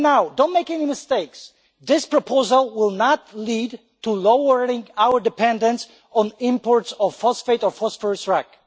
Don't make any mistakes this proposal will not lead to lowering our dependence on imports of phosphate or phosphorus rock.